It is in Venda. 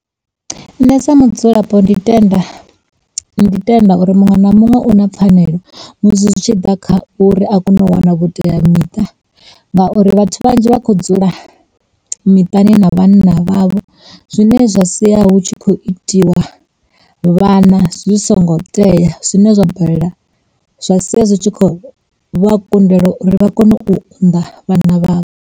Nṋe sa mudzulapo ndi tenda, ndi tenda uri muṅwe na muṅwe u na pfhanelo musi zwi tshi ḓa kha uri a kone u wana vhuteamiṱa ngauri vhathu vhadzhi vha khou dzula miṱani na vhanna vhavho zwine zwa sia hu tshi khou itiwa vhana zwisongo teya zwine zwa bala zwa sia zwi tshi kho vha kundela uri vha kone u unḓa vhana vhavho.